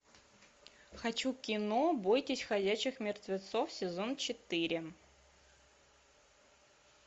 хочу кино бойтесь ходячих мертвецов сезон четыре